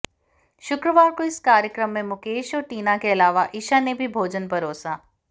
शुक्रवार को इस कार्यक्रम में मुकेश और टीना के अलावा ईशा ने भी भोजन परोसा